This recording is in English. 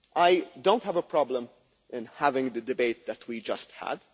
House. I do not have a problem in having the debate that we just